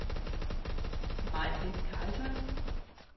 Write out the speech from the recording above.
Majbrit Karlsson